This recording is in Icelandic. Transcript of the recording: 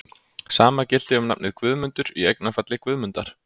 Sama gilti um nafnið Guðmundur, í eignarfalli Guðmundar.